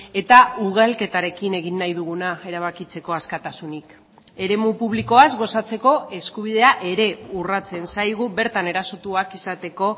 eta ugalketarekin egin nahi duguna erabakitzeko askatasunik eremu publikoaz gozatzeko eskubidea ere urratzen zaigu bertan erasotuak izateko